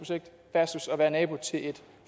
versus at være nabo til et